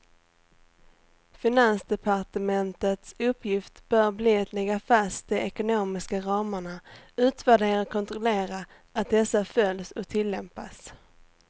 Finansdepartementets uppgift bör bli att lägga fast de ekonomiska ramarna, utvärdera och kontrollera att dessa följs och tillämpas.